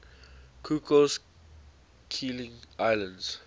cocos keeling islands